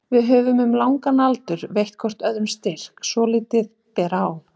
Við höfum um langan aldur veitt hvor öðrum styrk svo lítið ber á.